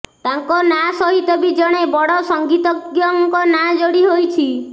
ତାଙ୍କ ନାଁ ସହିତ ବି ଜଣେ ବଡ଼ ସଂଗୀତଜ୍ଞଙ୍କ ନାଁ ଯୋଡ଼ି ହୋଇଛି